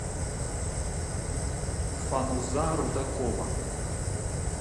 фануза рудакова